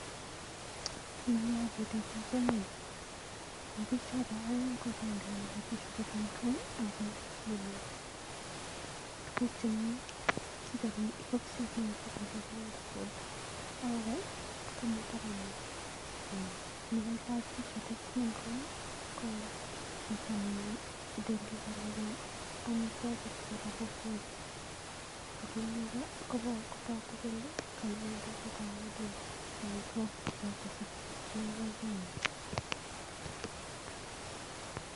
en yu agere biik oeng, en biik choton oeng ko agenge ko tindo tishatit ne green ako nome tuguk chemiten boksit nekikisir kole bold food ak age komiten taban yo, aya nekailach tishatit ne green ko chito ne delivoreni omitwokik choton bo bold food ak age kotoku kole kainende nekaodareni omitwokik choton sekeibji akoi konyin.